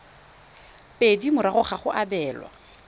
pedi morago ga go abelwa